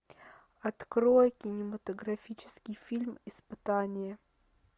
открой кинематографический фильм испытание